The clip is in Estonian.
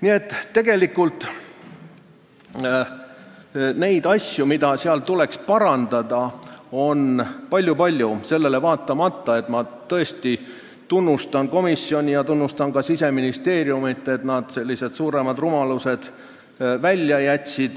Nii et tegelikult on neid asju, mida tuleks parandada, palju-palju, sellele vaatamata, et ma tõesti tunnustan komisjoni ja tunnustan ka Siseministeeriumi selle eest, et nad suuremad rumalused välja jätsid